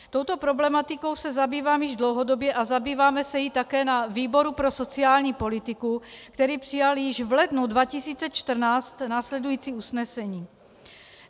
Touto problematikou se zabývám již dlouhodobě a zabýváme se jí také na výboru pro sociální politiku, který přijal již v lednu 2014 následující usnesení: